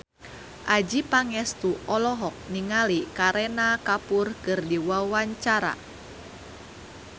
Adjie Pangestu olohok ningali Kareena Kapoor keur diwawancara